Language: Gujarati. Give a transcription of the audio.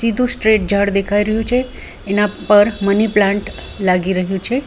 ધૂ સ્ટ્રેટ ઝાડ દેખાઈ રહ્યું છે એના પર મની પ્લાન્ટ લાગી રહ્યું છે.